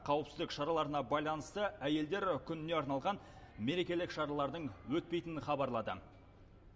қауіпсіздік шараларына байланысты әйелдер күніне арналған мерекелік шаралардың өтпейтінін хабарлады